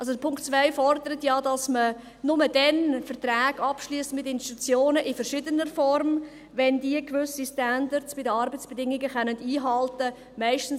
Also der Punkt 2 fordert ja, dass man nur dann Verträge mit Institutionen in verschiedener Form abschliesst, wenn sie bei den Arbeitsbedingungen gewisse Standards einhalten können.